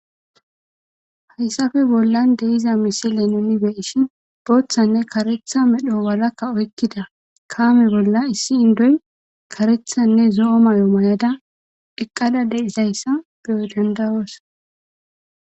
Hayssafe bollan deiza misile nuni beishin booththanne karetha medho walakka oykkida kaame bolla issi indoy karethanne zo'o mayo mayada eqqada deizayssa beyo dandayoos.